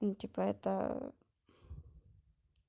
ну типо это